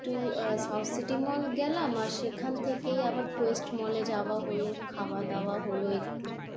একটু আহ South City mall গেলাম আর সেখান থেকেই আবার কোয়েস্ট mall এ যাওয়া হল, খাওয়া-দাওয়া হল একটু,